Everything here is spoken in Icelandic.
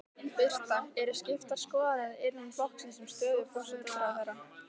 Birta: Eru skiptar skoðanir innan flokksins um stöðu forsætisráðherra?